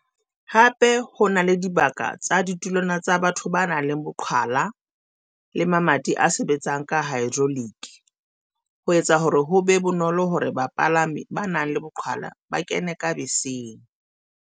Hape di na le dibaka tsa ditulwana tsa batho ba nang le boqhwala le mamati a sebetsang ka haedroloki, ho etsa hore ho be bonolo hore bapala mi ba nang le boqhwala ba kene ka beseng.